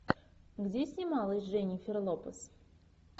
где снималась дженнифер лопес